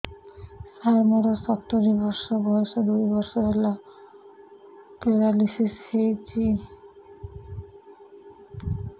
ସାର ମୋର ସତୂରୀ ବର୍ଷ ବୟସ ଦୁଇ ବର୍ଷ ହେଲା ପେରାଲିଶିଶ ହେଇଚି